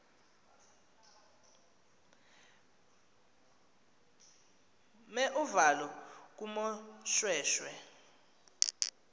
mer uvalo kumoshweshwe